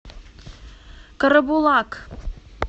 карабулак